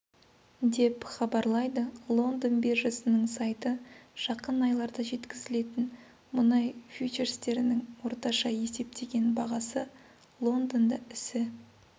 деп хабарлайды лондон биржасының сайты жақын айларда жеткізілетін мұнай фьючерстерінің орташа есептеген бағасы лондонда ісі